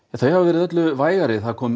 þau hafa verið öllu vægari það kom